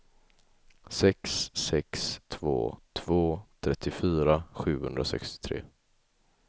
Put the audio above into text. sex sex två två trettiofyra sjuhundrasextiotre